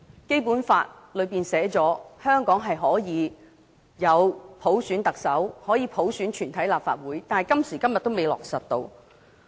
《基本法》訂明香港可以普選行政長官及全體立法會議員，但今時今日仍然未能落實。